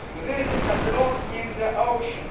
This is a drop in the ocean.